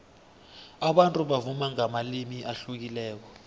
abantu bavuma ngamalimi ahlukileko